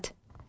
İsmət.